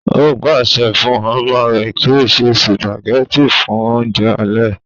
ó pàṣẹ fún ọmọ rẹ̀ kí ó ṣe sùpàgẹ́tì fún oúnjẹ alẹ́